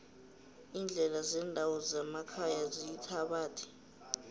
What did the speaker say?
iindlela zendawo zemakhaya ziyithabathi